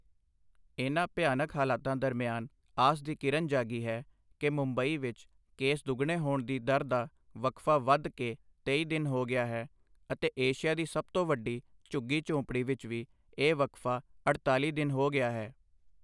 ਇਨ੍ਹਾਂ ਭਿਆਨਕ ਹਾਲਾਤਾਂ ਦਰਮਿਆਨ ਆਸ ਦੀ ਕਿਰਨ ਜਾਗੀ ਹੈ, ਕਿ ਮੁੰਬਈ ਵਿੱਚ ਕੇਸ ਦੁੱਗਣੇ ਹੋਣ ਦੀ ਦਰ ਦਾ ਵਕਫਾ ਵੱਧ ਕੇ ਤੇਈ ਦਿਨ ਹੋ ਗਿਆ ਹੈ ਅਤੇ ਏਸ਼ੀਆ ਦੀ ਸਭ ਤੋਂ ਵੱਡੀ ਝੁੱਗੀ ਝੋਂਪੜੀ ਵਿੱਚ ਵੀ ਇਹ ਵਕਫਾ ਅਠਤਾਲ਼ੀ ਦਿਨ ਹੋ ਗਿਆ ਹੈ।